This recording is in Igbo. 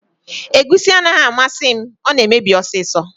Egusi anaghị amasị m, ọ na emebi ọsịsọ